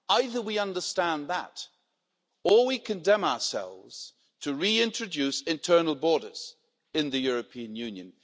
Either we understand that, or we condemn ourselves to reintroduce internal borders in the European Union.